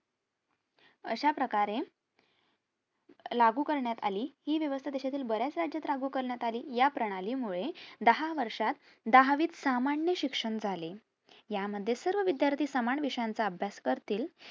अश्याप्रकारे लागू करण्यात आली हि वेवस्था देशातल्या बऱ्याच राज्यात लागू करण्यात अली या प्रणाली मुळे दहा वर्षात दहावीत सामान्य शिक्षण झाले. या मध्ये सर्व विद्यार्थी सामान विषयाचा अभ्यास करतील